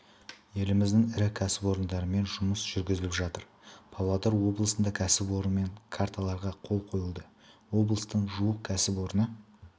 еліміздің ірі кәсіпорындарымен жұмыс жүргізіліп жатыр павлодар облысында кәсіпорынмен карталарға қол қойылды облыстың жуық кәсіпорны